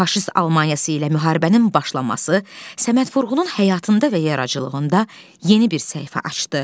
Faşist Almaniyası ilə müharibənin başlaması Səməd Vurğunun həyatında və yaradıcılığında yeni bir səhifə açdı.